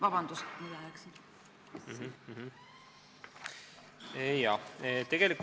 Vabandust, et ajaga üle läksin!